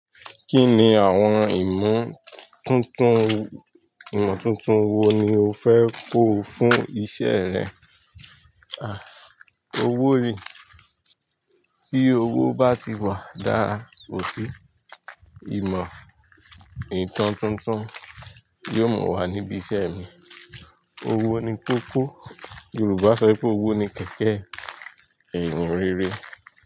Kí ni àwọn ìmọ̀ tuntun, ìmọ̀ tuntun wo ni o fẹ́ kó fún iṣẹ́ rẹ? Àí, owó yi, tí owó bá ti wà dára, ò sí ìmọ̀ ìtọ́ tuntun yóò mú wà níbi iṣẹ́ mi. Owó ni kó kó. Yorùbá sọ pé owó ni kẹ̀kẹ́ ẹ̀yin rere.